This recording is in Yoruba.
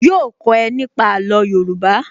Yóò kó ẹ nípa àlò Yorùbá